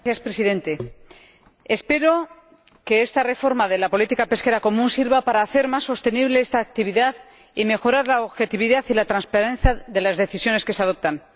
Señor Presidente, espero que esta reforma de la Política Pesquera Común sirva para hacer más sostenible esta actividad y mejorar la objetividad y la transparencia de las decisiones que se adoptan.